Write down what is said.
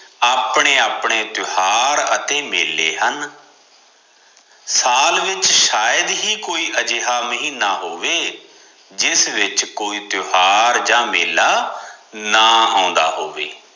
ਆਪਣੇ ਆਪਣੇ ਤਿਉਹਾਰ ਅਤੇ ਮੇਲੇ ਹਨ। ਸਾਲ ਵਿਚ ਸ਼ਾਇਦ ਹੀ ਕੀ ਅਜਿਹਾ ਮਹੀਨਾ ਹੋਵੇ ਜਿਸ ਵਿਚ ਕੋਈ ਤਿਉਹਾਰ ਜਾਂ ਮੇਲਾ ਨਾ ਆਉਂਦਾ ਹੋਵੇ।